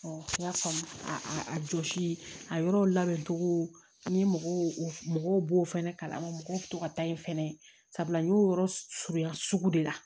n y'a faamu a jɔsili a yɔrɔ labɛncogo n ye mɔgɔw b'o fɛnɛ kalan mɔgɔw bɛ to ka taa yen fɛnɛ sabula n y'o yɔrɔ surunya sugu de la